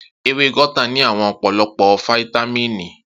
Ewé guata ní àwọn ọ̀pọ̀lọpọ̀ fáítámíìnì